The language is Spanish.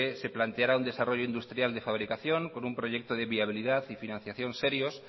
se planteara un desarrollo industrial de fabricación con un proyecto de viabilidad y financiación serios